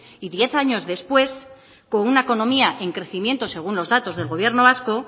y diez años después con una economía en crecimiento según los datos del gobierno vasco